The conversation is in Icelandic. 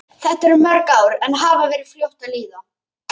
Þetta eru mörg ár en hafa verið fljót að líða.